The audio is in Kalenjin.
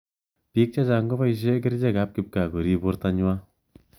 Pik che chang kobaishe kerchek ab kipkaa korib borto nywaa.